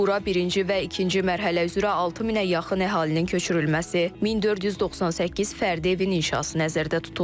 Bura birinci və ikinci mərhələ üzrə 6000-ə yaxın əhalinin köçürülməsi, 1498 fərdi evin inşası nəzərdə tutulur.